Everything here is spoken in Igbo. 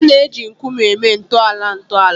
A na-eji nkume eme ntọala ntọala